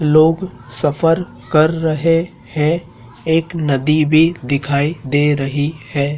लोग सफर कर रहे हैं एक नदी भी दिखाई दे रही है।